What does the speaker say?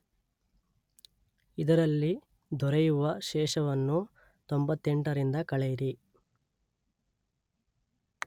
ಇದರಲ್ಲಿ ದೊರೆಯುವ ಶೇಷವನ್ನು ತೊಂಬತ್ತೆಂಟರಿಂದ ಕಳೆಯಿರಿ.